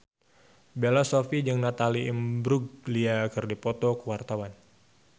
Bella Shofie jeung Natalie Imbruglia keur dipoto ku wartawan